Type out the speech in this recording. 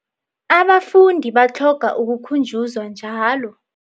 Abafundi batlhoga ukukhunjuzwa njalo.